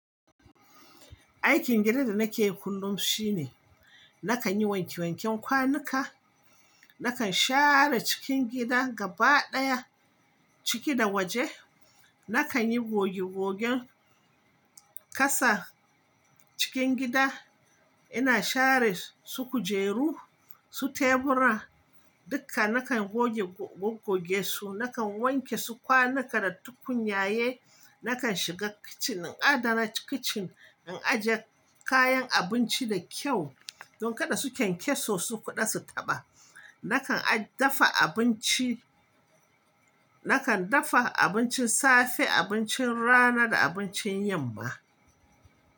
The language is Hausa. Aikin gidan da nake yi kullum shine nakan yi wanke wanken kwanuka, nakan share cikin gida gaba ɗaya, ciki da waje, nakan yi goge gogen ƙasa cikin gida. Ina share su kujeru, su tebura dukka nakan goge goge su, nakan wanke su kwanuka da tukunyaye, nakan shiga kitchen in adana kitchen, in ajiye kayan abinci da kyau don kada su kyankyaso su ƙuda su taɓa. Nakan dafa abinci, nakan dafa abincin safe, abincin rana da abincin yamma.